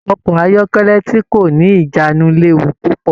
Ọkọ ayọkẹlẹ ti ko ni ijanu léwu púpọ̀.